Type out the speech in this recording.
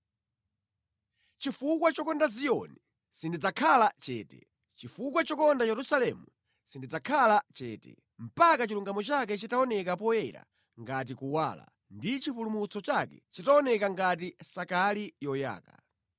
Chifukwa chokonda Ziyoni sindidzakhala chete, chifukwa chokonda Yerusalemu sindidzakhala chete, mpaka chilungamo chake chitaoneka poyera ngati kuwala, ndi chipulumutso chake chitaoneka ngati sakali yoyaka.